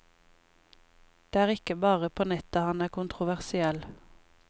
Det er ikke bare på nettet han er kontroversiell.